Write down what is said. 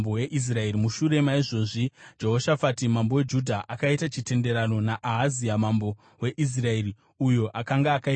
Mushure maizvozvi, Jehoshafati mambo weJudha akaita chitenderano naAhazia mambo weIsraeri uyo akanga akaipa kwazvo.